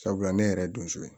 Sabula ne yɛrɛ ye donso ye